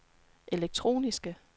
elektroniske